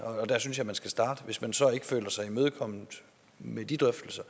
der synes jeg man skal starte hvis man så ikke føler sig imødekommet med de drøftelser